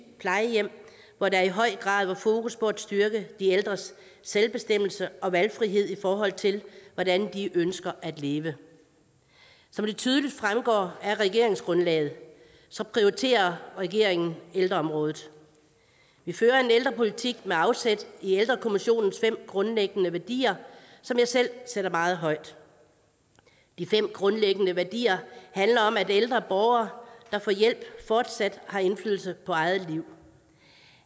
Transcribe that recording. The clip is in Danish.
plejehjem hvor der i høj grad var fokus på at styrke de ældres selvbestemmelse og valgfrihed i forhold til hvordan de ønsker at leve som det tydeligt fremgår af regeringsgrundlaget prioriterer regeringen ældreområdet vi fører en ældrepolitik med afsæt i ældrekommissionens fem grundlæggende værdier som jeg selv sætter meget højt de fem grundlæggende værdier handler om at ældre borgere der får hjælp fortsat har indflydelse på eget liv